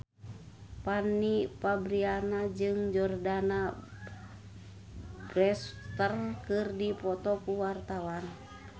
Fanny Fabriana jeung Jordana Brewster keur dipoto ku wartawan